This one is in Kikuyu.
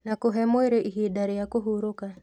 Na kũhee mwĩrĩ ihinda rĩa kũhurũka